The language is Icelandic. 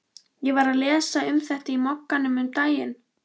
Ég var að lesa um þetta í Mogganum um daginn.